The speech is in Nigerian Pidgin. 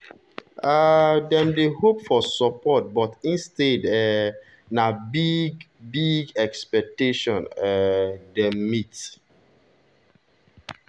um dem dey hope for support but instead um na big-big expectation um dem meet.